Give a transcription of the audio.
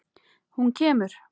Hún kemur!